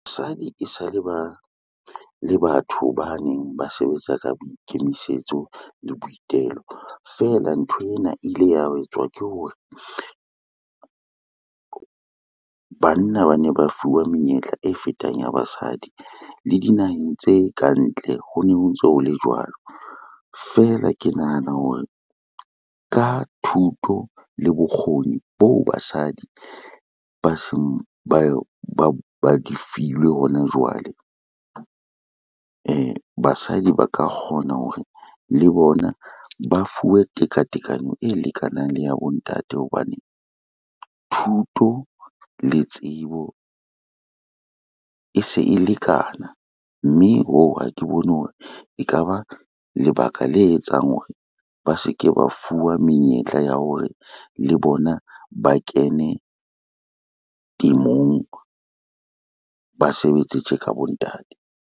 Basadi e sa le ba, e le batho ba neng ba sebetsa ka boikemisetso le boitelo fela ntho ena e ile ya etswa ke hore, banna ba ne ba fuwa menyetla e fetang ya basadi le dinaheng tse ka ntle ho ne ho ntso ho le jwalo. Feela ke nahana hore ka thuto le bokgoni boo basadi ba se ba di filwe hona jwale, basadi ba ka kgona hore le bona ba fuwe tekatekano e lekanang le ya bontate hobane, thuto le tsebo e se e lekana, mme hoo ha ke bone hore e ka ba lebaka le etsang hore ba se ke ba fuwa menyetla ya hore le bona ba kene temong, ba sebetse tje ka bontate.